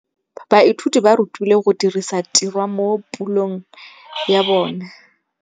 Baithuti ba rutilwe go dirisa tirwa mo puong ya bone.